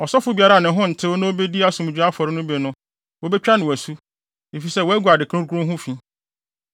Ɔsɔfo biara a ne ho ntew na obedi asomdwoe afɔre no bi no, wobetwa no asu, efisɛ wagu ade kronkron ho fi.